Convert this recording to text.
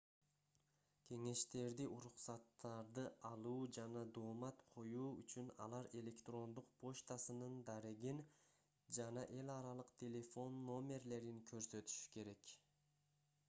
кеңештерди/уруксаттарды алуу жана доомат коюу үчүн алар электрондук почтасынын дарегин жана эл аралык телефон номерлерин көрсөтүшү керек